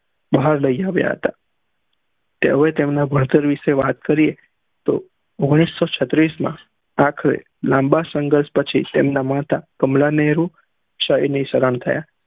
ભાહર દેહીઆવ્યા હતા તેવોએ તેમના ભણતર વિષે વાત કરી તો ઓઘ્નીશ સં છત્રી માં લાંબા સંઘર્ષ પછી તેમના માતા કમલા નેહરુ શ્રમ થયા